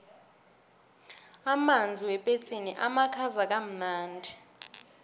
amanzi wepetsini amakhaza kamnandi